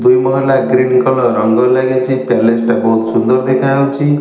ଦୁଇ ମହଲା green colour ରଙ୍ଗ ଲାଗିଚି ପ୍ୟାଲେସ୍ ଟା ବହୁତ୍ ସୁନ୍ଦର୍ ଦେଖାଯାଉଚି।